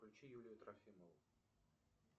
включи юлию трофимову